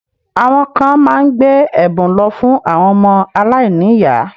Àwọn kan má ń gbé ẹ̀bùn lọ fún àwọn ọmọ alainiyaa